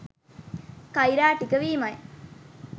කෛරාටික වීමයි.